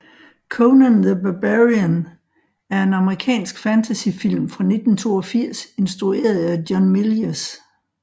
Conan the Barbarian er en amerikansk fantasyfilm fra 1982 instrueret af John Milius